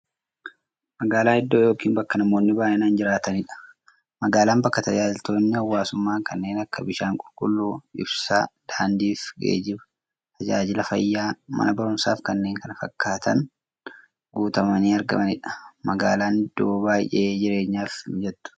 Magaalan iddoo yookiin bakka namoonni baay'inaan jiraataniidha. Magaalan bakka taajajilootni hawwaasummaa kanneen akka; bishaan qulqulluu, ibsaa, daandiifi geejjiba, taajajila fayyaa, Mana baruumsaafi kanneen kana fakkatan guutamanii argamaniidha. Magaalan iddoo baay'ee jireenyaf mijattuu taateedha.